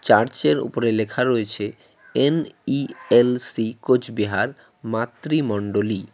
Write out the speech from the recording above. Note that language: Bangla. চার্চের উপরে লেখা রয়েছে এন_ই_এল_সি কোচবিহার মাতৃ মন্ডলী।